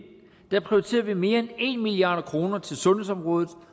prioriterer vi mere end en milliard kroner til sundhedsområdet